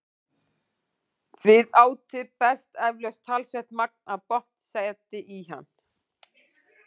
Við átið berst eflaust talsvert magn af botnseti í hann.